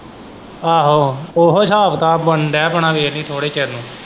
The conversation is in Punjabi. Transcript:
ਆਹੋ ਉਹੀ ਹਿਸਾਬ ਕਿਤਾਬ ਬਨਣ ਦਿਆ ਆਪਣਾ ਵੇਖੀ ਥੋੜੇ ਚਿਰ ਨੂੰ।